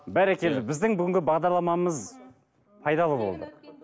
бәрекелді біздің бүгінгі бағдарламамыз пайдалы болды